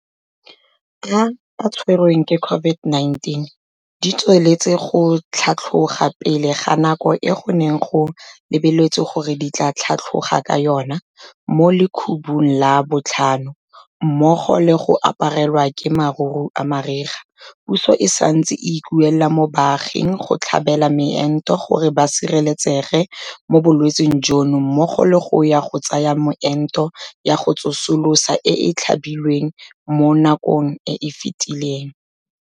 A a tshwerweng ke COVID-19 di tsweletse go tlhatlhoga pele ga nako e go neng go lebeletswe gore di tla tlhatlhoga ka yona mo lekhubung la botlhano mmogo le go aparelwa ke maruru a mariga, puso e santse e ikuela mo baaging go tlhabela moento gore ba sireletsege mo bolwetseng jono mmogo le go ya go tsaya meento ya go tsosolosa e e tlhabilweng mo nakong e e fetileng.